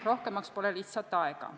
Rohkemaks pole lihtsalt aega.